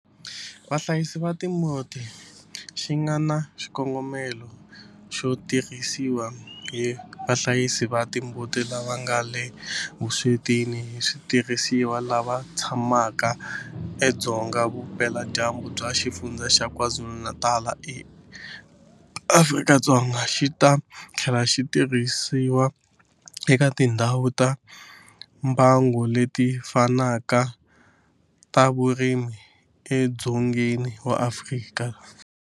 Vahlayisi va timbuti xi nga na xikongomelo xo tirhisiwa hi vahlayisi va timbuti lava nga le vuswetini hi switirhisiwa lava tshamaka edzonga vupeladyambu bya Xifundzha xa KwaZulu-Natal eAfrika-Dzonga, xi ta tlhela xi tirhisiwa eka tindhawu ta mbango leti fanaka ta vurimi edzongeni wa Afrika.